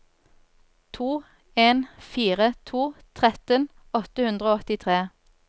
to en fire to tretten åtte hundre og åttitre